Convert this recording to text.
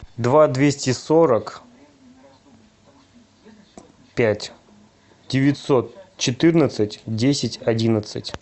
два двести сорок пять девятьсот четырнадцать десять одиннадцать